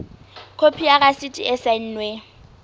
khopi ya rasiti e saennweng